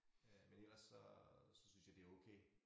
Øh men ellers så så synes jeg det okay